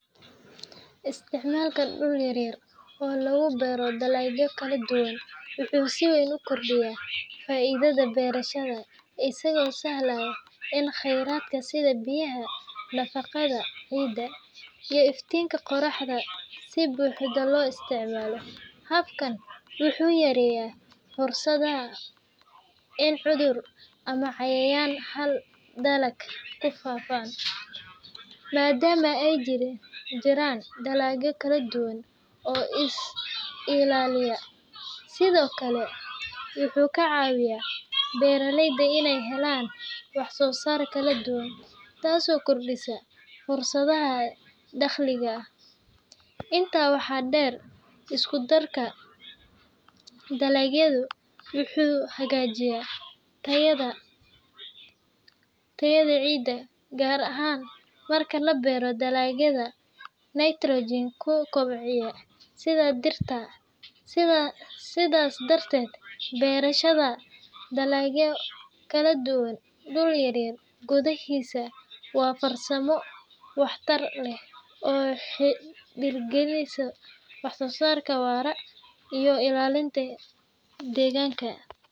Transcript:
Isticmaalka dhul yar yar oo lagu beero dalagyo kala duwan wuxuu si weyn u kordhiyaa faa’iidada beerashada, isagoo sahlaya in kheyraadka sida biyaha, nafaqada ciidda, iyo iftiinka qoraxda si buuxda loo isticmaalo. Habkan wuxuu yareeyaa fursadda in cudurro ama cayayaan hal dalag ku faafaan, maadaama ay jiraan dalagyo kala duwan oo is-ilaaliya. Sidoo kale, wuxuu ka caawiyaa beeraleyda inay helaan wax-soo-saar kala duwan, taasoo kordhisa fursadaha dakhliga. Intaa waxaa dheer, isku-darka dalagyadu wuxuu hagaajiyaa tayada ciidda, gaar ahaan marka la beero dalagyada nitrogen-ku kobciya sida digirta. Sidaas darteed, beerashada dalagyo kala duwan dhul yar gudaahiisa waa farsamo waxtar leh oo dhiirrigelisa wax-soo-saar waara iyo ilaalinta deegaanka.